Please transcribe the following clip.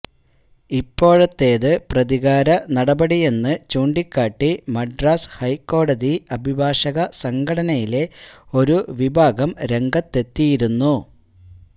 ഇപ്പോഴത്തേതത് പ്രതികാര നടപടിയെന്ന് ചൂണ്ടികാട്ടി മദ്രാസ് ഹൈക്കോടതി അഭിഭാഷക സംഘടനയിലെ ഒരു വിഭാഗം രംഗത്തെത്തിയിരുന്നു